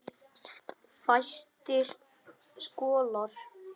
Fæstir skollar